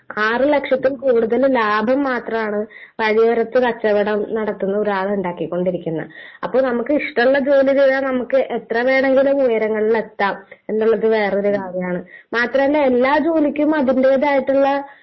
ആറ് ലക്ഷത്തിൽ കൂടുതൽ ലാഭം മാത്രമാണ് വഴിയോരത്ത് കച്ചവടം നടത്തുന്ന ഒരാളുണ്ടാക്കിക്കൊണ്ടിരിക്കുന്നത്. അപ്പൊ നമുക്ക് ഇഷ്ടമുള്ള ജോലി ചെയ്താൽ നമുക്ക് എത്ര വേണമെങ്കിലും ഉയരങ്ങളിലെത്താം എന്നുള്ളതിന്റെ വേറൊരു കഥയാണ്.മാത്രമല്ല എല്ലാ ജോലിക്കും അതിന്റേതായിട്ടുള്ള...